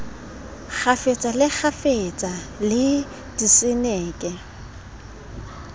kgafetsa le kgafetsa le diseneke